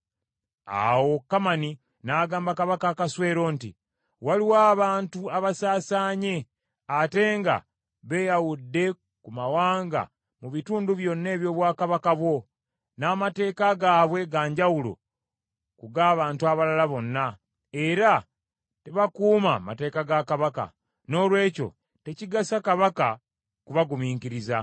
Awo Kamani n’agamba Kabaka Akaswero nti, “Waliwo abantu abasaasaanye ate nga beeyawudde ku mawanga mu bitundu byonna eby’obwakabaka bwo; n’amateeka gaabwe ga njawulo ku g’abantu abalala bonna, era tebakuuma mateeka ga Kabaka. Noolwekyo tekigasa Kabaka kubagumiikiriza.